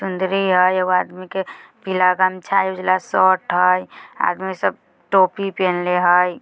चुंदड़ी हेय एगो आदमी के पीला गमछा हेय उजाला शर्ट हेय आदमी सब टोपी पहिन्ले हेय।